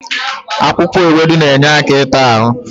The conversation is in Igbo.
Akwụkwọ ewedu na-enye aka ịta ahụ.